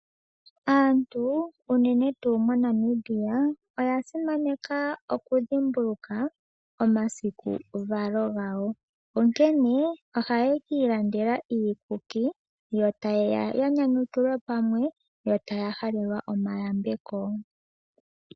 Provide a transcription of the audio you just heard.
Aantu unene tuu moNamibia oya simaneka oku dhimbulukwa omasiku valo gawo onkene ohaya ka ilandela iikuki yo ta yeya ya nyanyukilwe pamwe ,ta ya halelwa omayambeko.